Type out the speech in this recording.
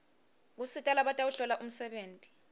kusita labatawuhlola umsebenti